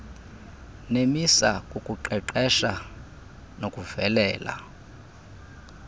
nemisa kukuqeqesha nokuvelisa